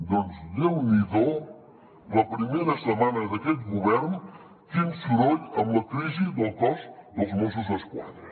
doncs déu n’hi do la primera setmana d’aquest govern quin soroll amb la crisi del cos dels mossos d’esquadra